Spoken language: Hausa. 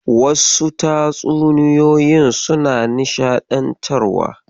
Wasu tatsuniyoyin suna nishaɗantarwa.